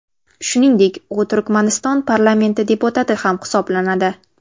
Shuningdek, u Turkmaniston parlamenti deputati ham hisoblanadi.